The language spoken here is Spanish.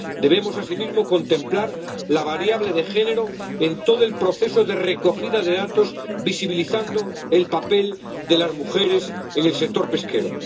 Debemos asimismo contemplar la variable de género en todo el proceso de recogida de datos, visibilizando el papel de las mujeres en el sector pesquero.